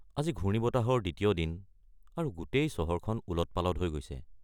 আজি ঘূৰ্ণিবতাহৰ দ্বিতীয় দিন আৰু গোটেই চহৰখন ওলট-পালট হৈ গৈছে।